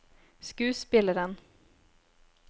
skuespilleren